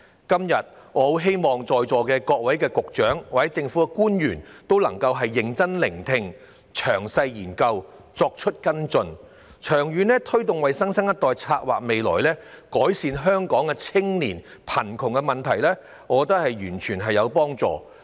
今天，我希望在座各位局長及政府官員均會認真聆聽，詳細研究，作出跟進，為新生代長遠地策劃未來，改善香港青年的貧窮問題，我認為這對社會有幫助。